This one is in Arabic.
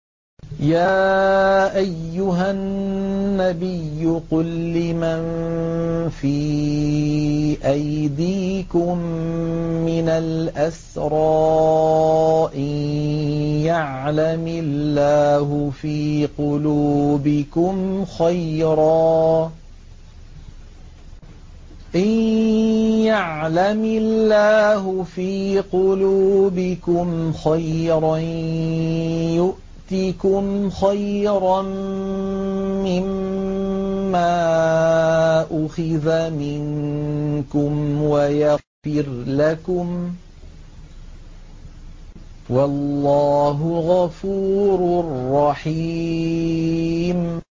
يَا أَيُّهَا النَّبِيُّ قُل لِّمَن فِي أَيْدِيكُم مِّنَ الْأَسْرَىٰ إِن يَعْلَمِ اللَّهُ فِي قُلُوبِكُمْ خَيْرًا يُؤْتِكُمْ خَيْرًا مِّمَّا أُخِذَ مِنكُمْ وَيَغْفِرْ لَكُمْ ۗ وَاللَّهُ غَفُورٌ رَّحِيمٌ